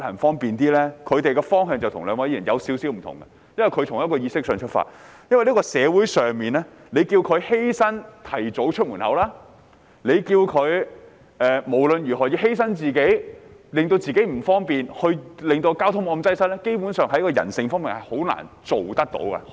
他們的方向與兩位議員有少許不同，因為他們是從意識上出發，因為在這個社會，如果要市民作出一點犧牲，提早出門，不論怎樣，要犧牲自己或令自己不方便，從而令交通沒有那麼擠塞，基本上，人性上是很難做到的。